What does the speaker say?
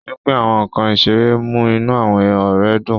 Pínpín àwọn nkán iṣere mu inú awọn ọrẹ dun.